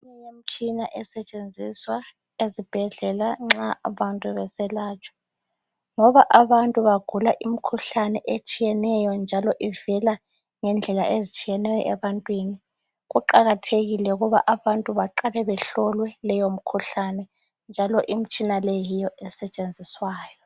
Imitshina esetshenziswa ezibhedlela nxa abantu beselatshwa ngoba abantu bagula umkhuhlane otshiyeneyo njalo ivela ngendlela ezitshiyeneyo ebantwini. Kuqakathekile ukuba abantu baqale behlolwe leyo mkhuhlane njalo imtshina leyo yiyo esetshenziswayo.